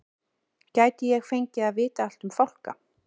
Gæti ég fengið að vita allt um fálka?